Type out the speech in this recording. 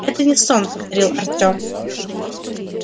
это не сон повторил артем